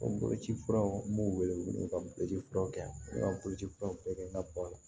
O boloci furaw n b'u wele wele ka boloci furaw kɛ yan boloci furaw bɛɛ kɛ n ka ba la